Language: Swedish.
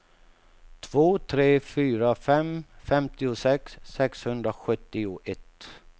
två tre fyra fem femtiosex sexhundrasjuttioett